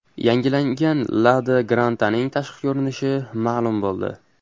Yangilangan Lada Granta’ning tashqi ko‘rinishi ma’lum bo‘ldi.